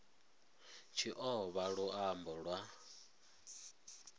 tshi o vha luambo lwa